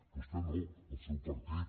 vostè no el seu partit